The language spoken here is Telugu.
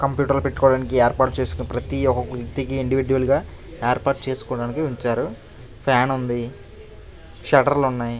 కంప్యూటర్ లు పెట్టుకోవడానికి ఏర్పాటు చేసిన ప్రతి ఒక్క వ్యక్తికి ఇండివిడ్యువల్ గా ఏర్పాటు చేసుకోవడానికి ఉంచారు. ఫ్యాన్ ఉంది. షట్టర్ లు ఉన్నాయి.